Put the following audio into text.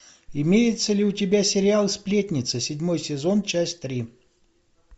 имеется ли у тебя сериал сплетница седьмой сезон часть три